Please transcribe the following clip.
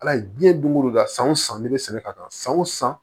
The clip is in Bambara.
Ala ye diɲɛ don o don da san o san ne bɛ sɛnɛ ka san o san